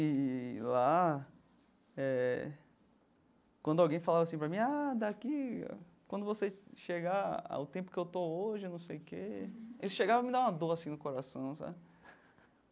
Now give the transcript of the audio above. E lá eh, quando alguém falava assim para mim, ah, daqui, quando você chegar ao tempo que eu estou hoje, eu não sei o quê, isso chegava a me dar uma dor assim no coração, sabe?